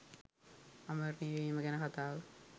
අමරණීය වීම ගැන කතාව